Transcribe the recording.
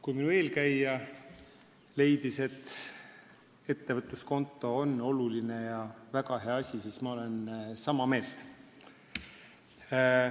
Kui minu eelkäija leidis, et ettevõtluskonto on oluline ja väga hea asi, siis ma olen sama meelt.